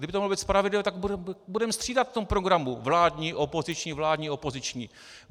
Kdyby to mělo být spravedlivé, tak budeme střídat v tom programu - vládní, opoziční, vládní, opoziční.